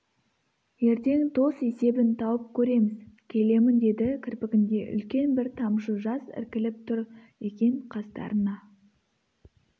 ертең тос есебін тауып көреміз келемін деді кірпігінде үлкен бір тамшы жас іркіліп тұр екен қастарына